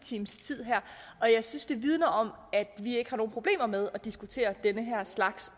times tid og jeg synes det vidner om at vi ikke har nogen problemer med også at diskutere den her slags